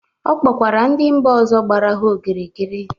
Ọ kpọkwara ndị mba ọzọ gbara ha okirikiri.